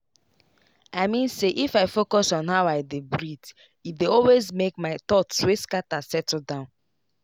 i mean say if i focus on how i dey breathee dey always make my thoughts wey scatter settle down.